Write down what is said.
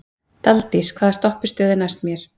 Daldís, hvaða stoppistöð er næst mér?